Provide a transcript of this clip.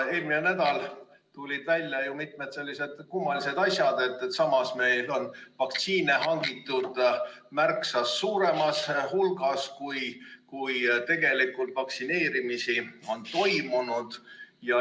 Eelmine nädal tulid välja mitmed sellised kummalised asjad, et meil on vaktsiine hangitud märksa suuremas hulgas, kui tegelikult vaktsineerimisi on toimunud.